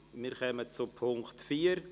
Wir kommen zum Punkt 4.